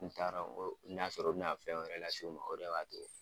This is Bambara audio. N t'a dɔn n'a y'a sɔrɔ o bɛ na fɛn wɛrɛ lase u ma o de b'a to